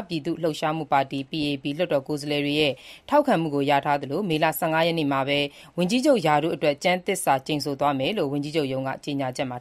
ပြည်သူ့လှုပ်ရှားမှုပါတီ PAP လွှတ်တော်ကိုယ်စားလှယ်အများစုထောက်ခံမှုကိုရထားတဲ့ ဒုတိယဝန်ကြီးချုပ် Lawrence Wong က မေလ ၁၅ ရက်နေ့မှာပဲ ကျမ်းသစ္စာကျိန်ဆိုသွားမယ်လို့ ဝန်ကြီးချုပ်ရုံး ကြေညာချက်မှာ